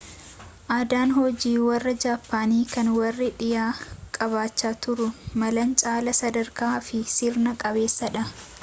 aadaan hojii warra jaappaanii kan warri dhiyaa qabaachaa turuu malan caalaa sadarkaa fi sirna qabeessadha